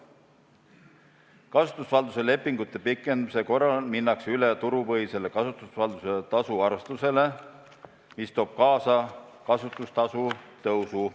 Kasutusvalduse lepingute pikendamise korral minnakse üle turupõhisele kasutusvalduse tasu arvestusele, mis toob kaasa kasutustasu tõusu.